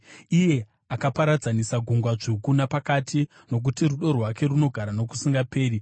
iye akaparadzanisa Gungwa Dzvuku napakati, Nokuti rudo rwake runogara nokusingaperi.